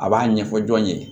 A b'a ɲɛfɔ jɔn ye